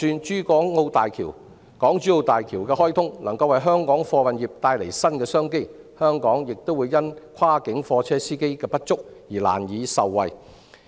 即使港珠澳大橋的開通能為香港的貨運業帶來新商機，香港亦會因跨境貨車司機不足而難以受惠。